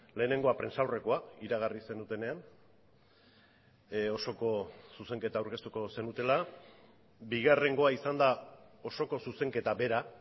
lehenengoa prentsaurrekoa iragarri zenutenean osoko zuzenketa aurkeztuko zenutela bigarrengoa izan da osoko zuzenketa bera